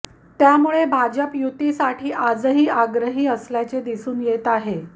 त्यामुळे भाजप युतीसाठी आजही आग्रही असल्याचे दिसून येत आहे